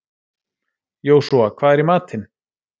Jósúa, hvað er í matinn?